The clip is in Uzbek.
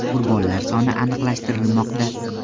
Qurbonlar soni aniqlashtirilmoqda.